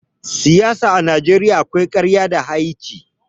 Siyasa a Najeriya akwai ƙarya da ha'inci.